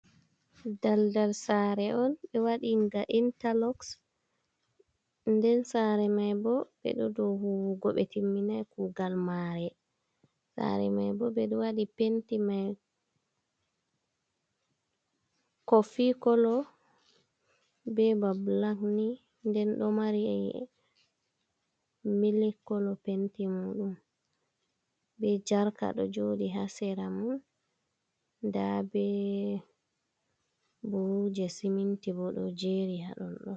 Daldal saare on ɓe waɗi nga intaloxs nden saare mai bo ɓeɗo do huwugo ɓe timminai kugal mare saare maibo ɓeɗo waɗi penti mai kofi kolo ɓe ɓa bilak ni nden ɗo mari mil kolo penti mo ɗum be jarka do joɗi ha sera man nda be buhuji siminti bo ɗo jeri ha ɗon ɗon.